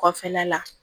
Kɔfɛla la